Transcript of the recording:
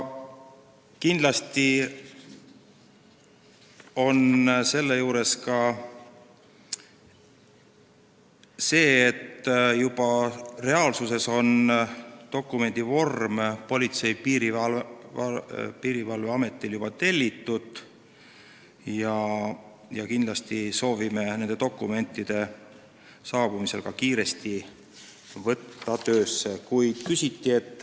Kindlasti on selle juures tähtis seegi, et reaalsuses on Politsei- ja Piirivalveametil dokumendivormid juba tellitud ja me soovime need saabumise järel ka kiiresti töösse võtta.